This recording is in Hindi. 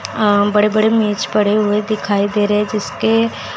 आ बड़े बड़े मेज पड़े हुए दिखाई दे रहे हैं जिसके--